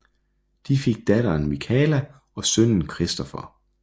De fik datteren Michala og sønnen Christopher